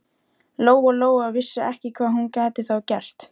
Lóa Lóa vissi ekki hvað hún gæti þá gert.